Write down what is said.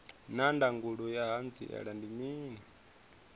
naa ndangulo ya hanziela ndi mini